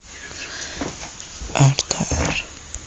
ртр